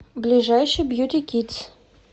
ближайший бьюти кидс